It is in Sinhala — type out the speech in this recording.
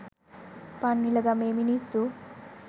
පන්විල ගමේ මිනිස්සු